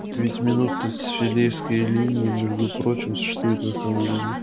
ведь минуты с филёвской линии между прочим существуют на самом деле